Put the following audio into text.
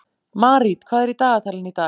Marít, hvað er í dagatalinu í dag?